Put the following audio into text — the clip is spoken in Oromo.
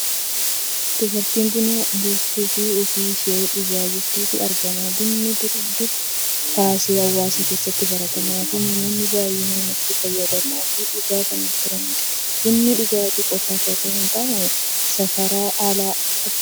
Dubartii buna buustuufi ofii ishees dhugaa jirtutu argama. Bunni dur durii kaasee hawaasa keessatti baratamaa fi namoonni baay'inaan itti fayyadamaa fi dhugaa kan turanidha. Bunni dhugaatii qofaaf otoo hin taane sharafa alaa argamsiisas.